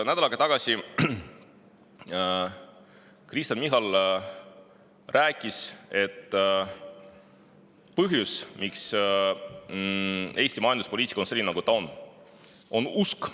Nädal aega tagasi rääkis Kristen Michal, et põhjus, miks Eesti majanduspoliitika on selline, nagu ta on, on usk.